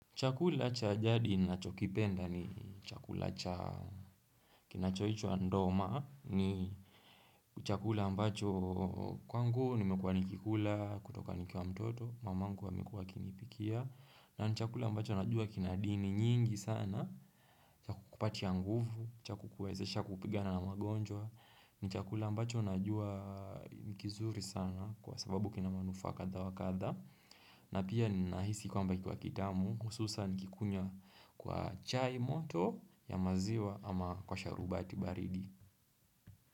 Chakula cha jadi ninachokipenda ni chakula cha kinachoitwa ndoma ni chakula ambacho kwangu nimekuwa nikikula kutoka nikwa mtoto mamangu alikuwa akinipikia na chakula ambacho najua kinadini nyingi sana chakupatia nguvu chakukuwezesha kupigana na magonjwa ni chakula ambacho najua kizuri sana kwa sababu kina manufaa kadha wa kadha na pia ninahisi kwamba kikiwa kitamu hususan nikikunya kwa chai moto ya maziwa ama kwa sharubati baridi.